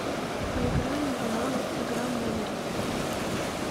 поиграем в навык игра мемори